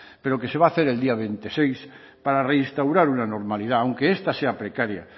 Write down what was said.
pero que se va a hacer el día veintiséis para reinstaurar una normalidad aunque esta sea precaria